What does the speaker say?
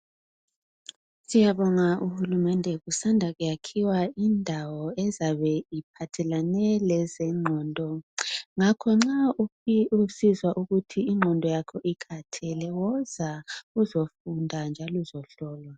Siyabonga uhulumende kusanda kuyakhiwa indawo ezabe iphathelane lezengqondo. Ngakho nxa usizwa ukuthi ingqondo yakho ikhathele woza uzofunda njalo uzohlolwa.